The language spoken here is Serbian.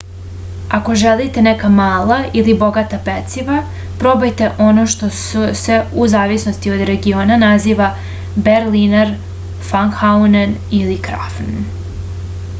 ako želite neka mala ali bogata peciva probajte ono što se u zavisnosti od regiona naziva berliner fankuhen ili krafen